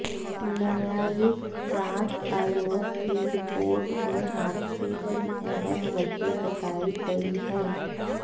न्यायिक जांच आयोग की रिपोर्ट में हादसे की अहम वजह बतायी गयी हैं